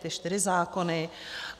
Ty čtyři zákony.